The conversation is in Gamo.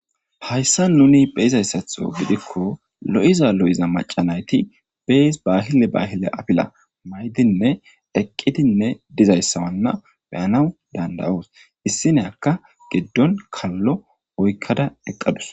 Hayssa nuni be7izayssatho gidikko lo7iza lo7iza macca nayti bees baahile baahile afila mayidinne eqqidinne dizayssawanna beyanaw dandayoos. Issi nayakka giddon kallo oykkada eqqadus.